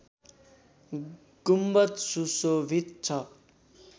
गुम्बद सुशोभित छ